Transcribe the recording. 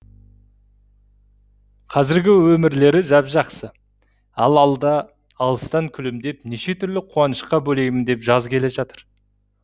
қазіргі өмірлері жап жақсы ал алда алыстан күлімдеп неше түрлі қуанышқа бөлеймін деп жаз келе жатыр